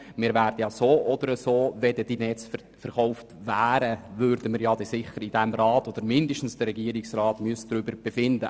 Wenn die Netze weggingen, müsste dieser Rat oder mindestens der Regierungsrat ohnehin darüber befinden.